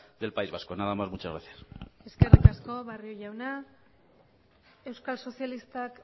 del país vasco nada más muchas gracias eskerrik asko barrio jauna euskal sozialistak